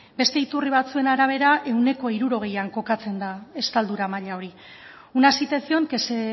beste iturri batzuen arabera ehuneko hirurogeian kokatzen da estaldura maila hori una situación que se